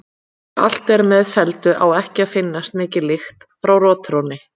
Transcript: Þegar allt er með felldu á ekki að finnast mikil lykt frá rotþrónni.